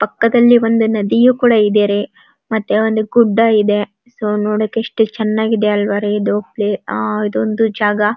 ಪಕ್ಕದಲ್ಲಿ ಒಂದು ನದಿಯು ಕೂಡ ಇದೆ ರೀ ಒಂದು ಗುಡ್ಡ ಇದೆ ಸೊ ನೋಡಕ್ ಎಸ್ಟ್ ಚೆನ್ನಾಗಿದೆ ಅಲ್ವಾ ಇದು ಇದೊಂದು ಜಾಗ--